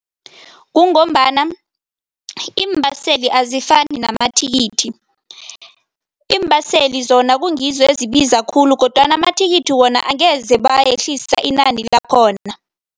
Kungombana iimbaseli azifani namathikithi. Iimbaseli zona kungizo ezibiza khulu kodwana amathikithi wona angeze bayehlisa inani lakhona.